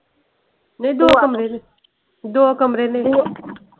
ਨੀ ਦੋ ਕਮਰੇ ਨੇ। ਦੋ ਕਮਰੇ ਨੇ।